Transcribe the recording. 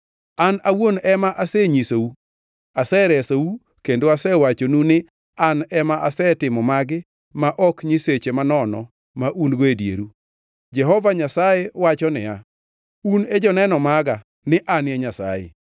An awuon ema asenyisou, aseresou kendo asewachonu ni an ema asetimo magi ma ok nyiseche manono ma un-go e dieru. Jehova Nyasaye wacho niya, “Un e joneno maga ni an e Nyasaye.”